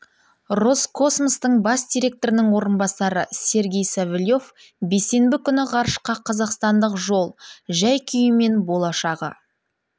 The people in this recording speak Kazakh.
роскосмостың бас директорының орынбасары сергей савельев бейсенбі күні ғарышқа қазақстандық жол жәй-күйі мен болашағы